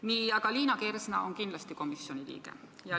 Nii, aga Liina Kersna on kindlasti komisjoni liige.